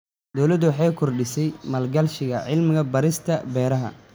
Dawladdu waxay kordhisay maalgashiga cilmi-baarista beeraha.